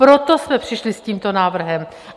Proto jsme přišli s tímto návrhem.